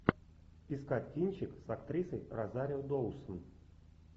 искать кинчик с актрисой розарио доусон